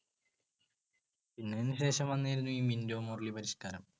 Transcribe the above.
അതിനു ശേഷം വന്നിരുന്നു ഈ മിൻറ്റോ മോർലി പരിഷ്‌ക്കാരം.